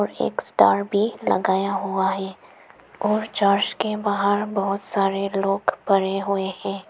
एक स्टार भी लगाया हुआ है और चर्च के बाहर बहुत सारे लोग पड़े हुए हैं।